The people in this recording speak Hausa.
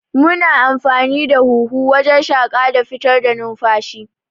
Muna amfani da huhu wajan shaƙa da fitar da numfashi